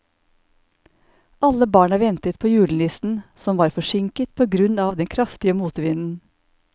Alle barna ventet på julenissen, som var forsinket på grunn av den kraftige motvinden.